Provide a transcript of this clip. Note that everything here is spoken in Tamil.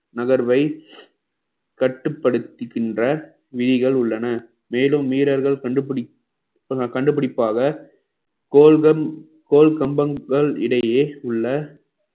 நகர்வை கட்டுப்படுத்துகின்ற விதிகள் உள்ளன மேலும் வீரர்கள் கண்டுபிடிப்~ கண்டுபிடிப்பாக கோல்கள் கோல் கம்பங்கள் இடையே உள்ள